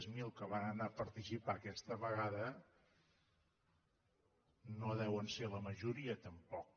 zero que van anar a participar aquesta vegada no deuen ser la majoria tampoc